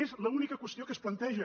és l’única qüestió que es planteja